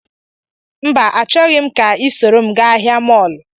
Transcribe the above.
mba, Achọghị m ka ị soro m gaa ahịa mọọlụ